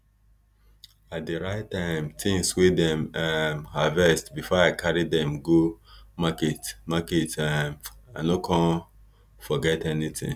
i dey write um things wey dem um harvest before i carry dim go market market um i no con forget anything